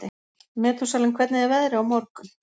Metúsalem, hvernig er veðrið á morgun?